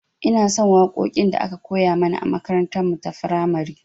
Inason waƙoƙin da aka koya mana a makarantar mu ta firamare